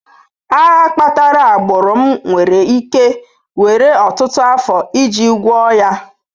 Agha kpatara agbụrụ m nwere ike were ọtụtụ afọ iji gwọọ ya.